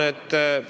Jaa.